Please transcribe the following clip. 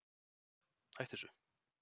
hættu þessu